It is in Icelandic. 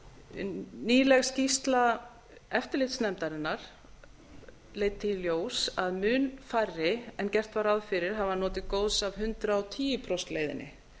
greiðslujöfnunarvísitölunnar nýleg skýrsla eftirlitsnefndarinnar leiddi í ljós að mun færri en gert var ráð fyrir hafa notið góðs af hundrað og tíu prósenta leiðinni